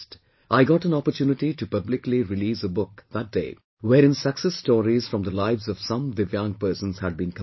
I got an opportunity to publicly release a book that day wherein success stories from the lives of some DIVYANG persons had been compiled